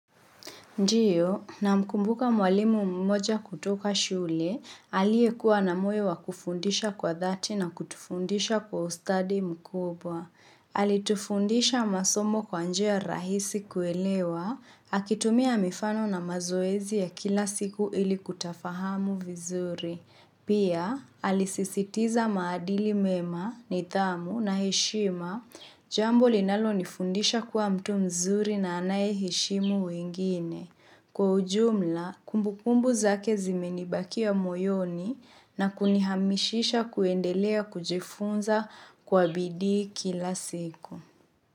Ndio, namkumbuka mwalimu mmoja kutoka shule, aliekuwa na moyo wa kufundisha kwa dhati na kutufundisha kwa ustadi mkubwa. Alitufundisha masomo kwa njia rahisi kuelewa, akitumia mifano na mazoezi ya kila siku ili kutafahamu vizuri. Pia, alisisitiza maadili mema, nithamu na heshima jambo linalonifundisha kuwa mtu mzuri na anaye heshimu wengine. Kwa ujumla, kumbukumbu zake zimenibakia moyoni na kunihamishisha kuendelea kujifunza kwa bidii kila siku.